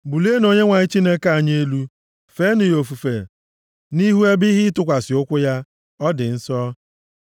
Bulienụ Onyenwe anyị Chineke anyị elu, feenụ ofufe nʼihu ebe ihe ịtụkwasị ụkwụ ya; ọ dị nsọ.